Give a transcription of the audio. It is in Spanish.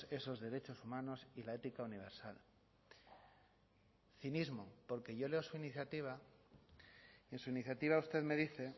esos derechos humanos y la ética universal cinismo porque yo leo su iniciativa en su iniciativa usted me dice